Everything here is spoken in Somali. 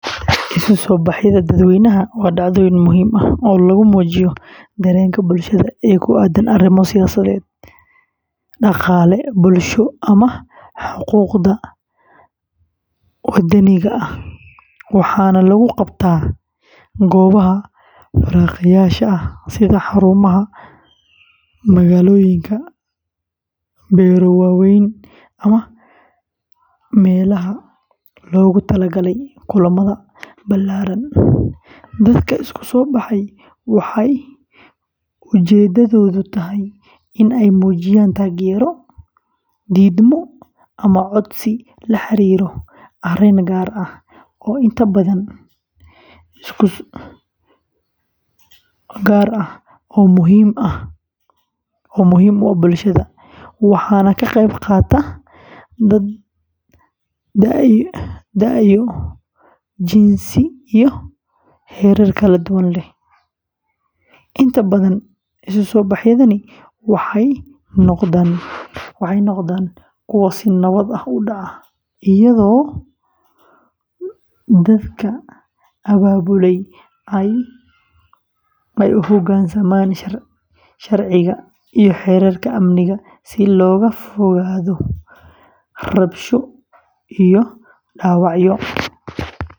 Isu-soobaxyada dadweynaha waa dhacdooyin muhiim ah oo lagu muujiyo dareenka bulshada ee ku aaddan arrimo siyaasadeed, dhaqaale, bulsho, ama xuquuqda madaniga ah, waxaana lagu qabtaa goobaha fagaareyaasha ah sida xarumaha magaalooyinka, beero waaweyn, ama meelaha loogu talagalay kulamada ballaaran. Dadka isu-soobaxa waxay ujeedadoodu tahay in ay muujiyaan taageero, diidmo, ama codsi la xiriira arrin gaar ah oo muhiim u ah bulshada, waxaana ka qeyb qaata dad da'yo, jinsi, iyo heerar kala duwan leh. Inta badan, isu-soobaxyadani waxay noqdaan kuwo si nabad ah u dhaca, iyadoo dadka abaabulaya ay u hogaansamaan sharciga iyo xeerarka amniga si looga fogaado rabshado iyo dhaawacyo.